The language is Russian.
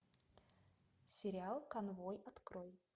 сериал конвой открой